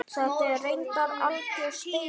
Þetta er reyndar algjör steypa.